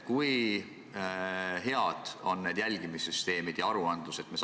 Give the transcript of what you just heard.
Kui head need jälgimissüsteemid ja aruanded ikkagi on?